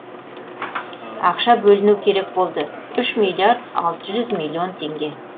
ақша бөліну керек болды үш миллиард алты жүз миллион теңге